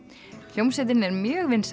hljómsveitin er mjög vinsæl